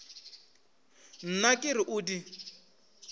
nna ke re o di